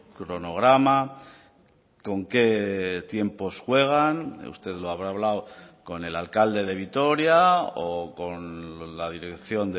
cronograma con qué tiempos juegan usted lo habrá hablado con el alcalde de vitoria o con la dirección